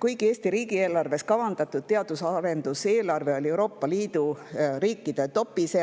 Kuigi Eesti riigieelarves kavandatud teadus- ja arendustegevuse eelarve oli Euroopa Liidu riikide tipus,